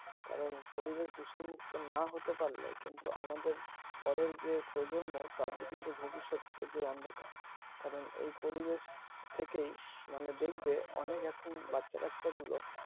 কারণ পরিবেশ দূষণ মুক না হতে পারলে কিন্তু আমাদের পরের যে প্রজন্ম তাদের কিন্তু ভবিষ্যৎ পুরো অন্ধকার কারণ এই পরিবেশ থেকেই মানে দেখবে অনেক এখন বাচ্চা বাচ্চা গুলো